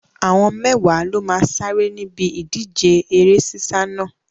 Àwọn mẹ́wàá ló máa sáré níbi ìdíje eré sísá náà.